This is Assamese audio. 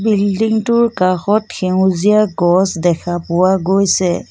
বিল্ডিং টোৰ কাষত সেউজীয়া গছ দেখা পোৱা গৈছে।